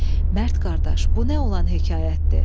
Mərd qardaş, bu nə olan hekayətdir?